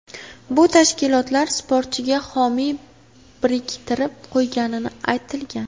Bu tashkilotlar sportchiga homiy biriktirib qo‘ygani aytilgan.